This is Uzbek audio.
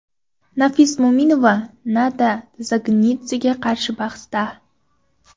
Nafis Mo‘minova Nana Dzagnidzega qarshi bahsda.